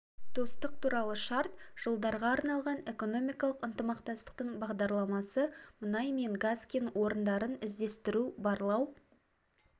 достық туралы шарт жылдарға арналған экономикалық ынтымақтастықтың бағдарламасы мұнай мен газ кен орындарын іздестіру барлау